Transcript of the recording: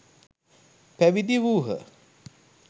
පැවිදි වූහ.